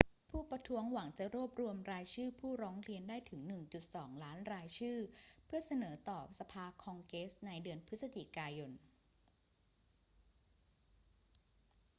ผู้ประท้วงหวังจะรวบรวมรายชื่อผู้ร้องเรียนได้ถึง 1.2 ล้านรายชื่อเพื่อเสนอต่อสภาคองเกรสในเดือนพฤศจิกายน